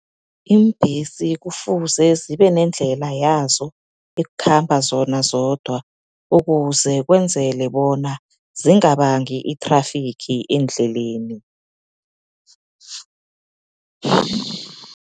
Iimbhesi kufuze zibenendlela yazo, ekhamba zona zodwa, ukuze kwenzele bona zingabangi i-traffic endleleni.